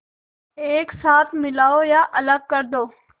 एक साथ मिलाओ या अलग कर दो